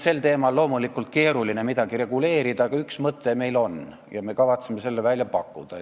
Seda teemat on loomulikult keeruline reguleerida, aga üks mõte meil on ja me kavatseme selle välja pakkuda.